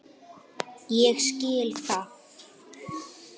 Ég skil það.